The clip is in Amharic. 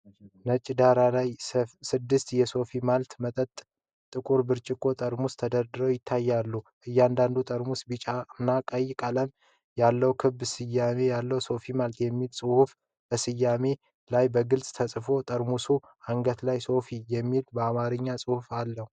ነጭ ዳራ ላይ ስድስት የሶፊ ማልት መጠጥ ጥቁር ብርጭቆ ጠርሙሶች ተደርድረው ይታያሉ። እያንዳንዱ ጠርሙስ ቢጫና ቀይ ቀለም ያለው ክብ ስያሜ አለው፤“SOFI MALT”የሚል ጽሑፍም በስያሜው ላይ በግልጽ ተጽፏል። በጠርሙሶቹ አንገት ላይ “ሶፊ” የሚል የአማርኛ ጽሑፍ አለ።